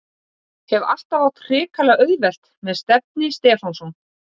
Hef alltaf átt hrikalega auðvelt með Stefni Stefánsson.